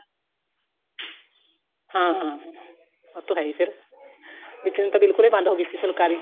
ਹਾਂ ਹਾਂ ਹਾਂ ਉਹ ਤਾਂ ਹੈ ਹੀ ਫੇਰ ਵਿੱਚ ਨੂੰ ਤਾਂ ਬਿਲਕੁਲ ਹੀ ਬੰਦ ਹੋ ਗਈ ਸੀ ਫੁਲਕਾਰੀ